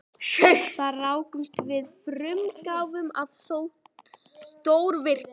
Þar rákumst við á frumútgáfuna af stórvirki